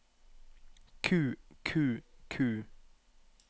ku ku ku